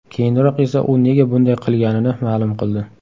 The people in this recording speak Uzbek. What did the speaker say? Keyinroq esa u nega bunday qilganini ma’lum qildi .